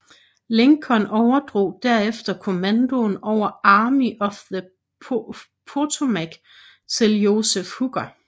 Lincoln overdrog derefter kommandoen over Army of the Potomac til Joseph Hooker